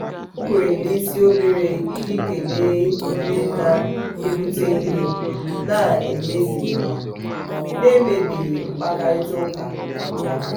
o kwere n'isi obere iji kelee onye na-ebute ihe na-emebighị mkparịtaụka ya.